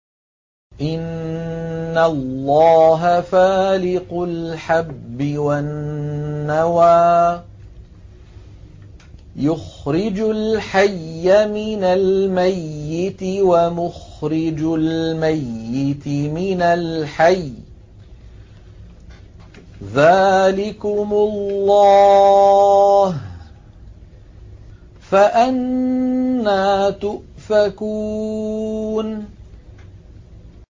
۞ إِنَّ اللَّهَ فَالِقُ الْحَبِّ وَالنَّوَىٰ ۖ يُخْرِجُ الْحَيَّ مِنَ الْمَيِّتِ وَمُخْرِجُ الْمَيِّتِ مِنَ الْحَيِّ ۚ ذَٰلِكُمُ اللَّهُ ۖ فَأَنَّىٰ تُؤْفَكُونَ